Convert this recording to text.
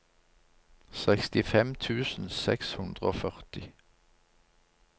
sekstifem tusen seks hundre og førti